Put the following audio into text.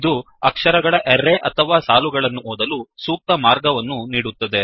ಇದು ಅಕ್ಷರ ಗಳ ಅರ್ರೇ ಅರೇ ಅಥವಾ ಸಾಲುಗಳನ್ನು ಓದಲು ಸೂಕ್ತ ಮಾರ್ಗವನ್ನು ನೀಡುತ್ತದೆ